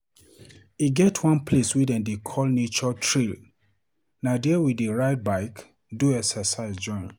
E get one place wey dem dey call nature trail, na dia we dey ride bike, do excercise join.